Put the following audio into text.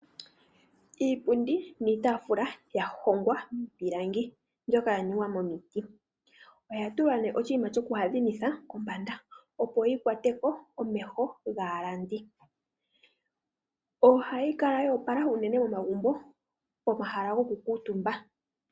Iipindi niitaafula ya hongwa miipilangi mbyoka ya ningwa momiti. Oya tulwa nee oshinima shoku adhimitha kombanda, opo yi kwate ko omeho gaalandi. Ohayi kala ya opala uunene momagumbo pomahala goku kuutumba.